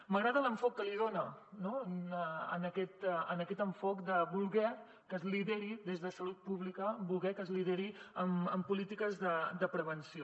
m’agrada l’enfocament que l’hi dona no aquest enfocament de voler que es lideri des de salut pública voler que es lideri amb polítiques de prevenció